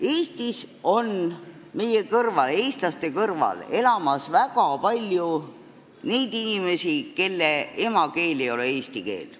Eestis elab meie, eestlaste kõrval väga palju inimesi, kelle emakeel ei ole eesti keel.